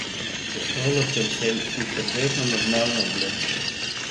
V šolo sem šel sicer vedno normalno oblečen.